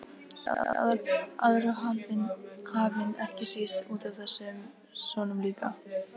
Yfir aðra hafinn, ekki síst útaf þessum sonum sínum.